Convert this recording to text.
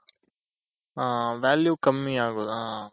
value ಕಮ್ಮಿ ಆಗೋದ್ ಹಾ